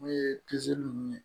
N'o ye ninnu ye